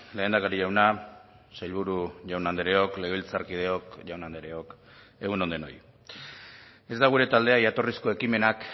lehendakari jauna sailburu jaun andreok legebiltzarkideok jaun andreok egun on denoi ez da gure taldea jatorrizko ekimenak